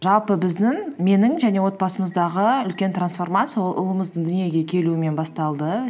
жалпы біздің менің және отбасымыздағы үлкен трансформация ол ұлымыздың дүниеге келуімен басталды